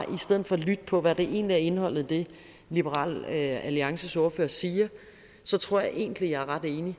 lytte på hvad der egentlig er indholdet i det liberal alliances ordfører siger tror jeg egentlig jeg er ret enig i